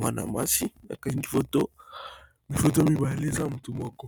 Mwana masi bakangi foto foto ya mibale eza motu moko,